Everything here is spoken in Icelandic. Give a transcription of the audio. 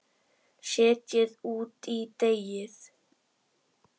Setjið út í deigið.